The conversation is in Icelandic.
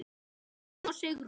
Jón og Sigrún.